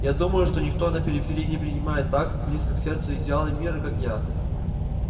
я думаю что никто на периферии не принимает так близко к сердцу идеалы мира как я